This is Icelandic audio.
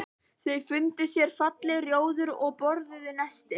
Þau fundu sér fallegt rjóður og borðuðu nestið.